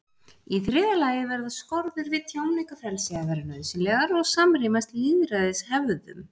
Í þriðja lagi verða skorður við tjáningarfrelsi að vera nauðsynlegar og samrýmast lýðræðishefðum.